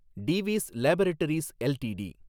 Divi's laboratories LTD